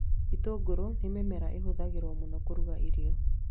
Itũngũrũ nĩ mĩmera ĩhũthagĩrwo mũno kũrũga irio